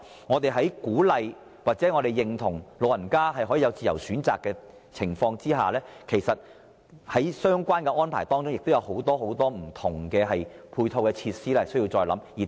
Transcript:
我們鼓勵或認同讓長者作出自由選擇，但在相關安排上，還有很多不同的配套措施需要再作考慮。